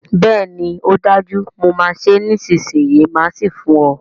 Bẹ́ẹ̀ni ọ dájú, mo máa ṣé nísìsiyìí máà sì fún ọ